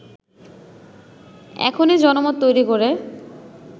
এখনই জনমত তৈরি করে